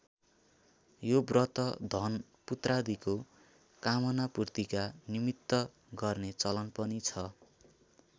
यो व्रत धन पुत्रादिको कामनापूर्तिका निमित्त गर्ने चलन पनि छ।